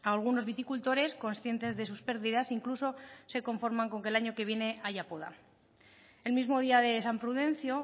algunos viticultores conscientes de sus pérdidas incluso se conforman con que el año que viene haya poda el mismo día de san prudencio